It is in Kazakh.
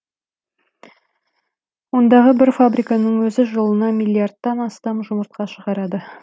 ондағы бір фабриканың өзі жылына миллиардтан астам жұмыртқа шығарады